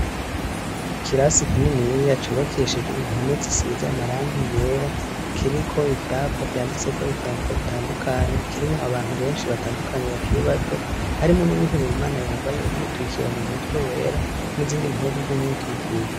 Ikirasi kinini cubakishije impome zisize amarangi yera kiriko ivyapa vyanditse ko ivyandiko bitandukanye kirimwo abantu benshi batandukanye bakiri bato harimo n'uwihebeye Imana yambaye umwitwikiro mu mutwe wera n'izindi mpuzu z'umwitwikiro.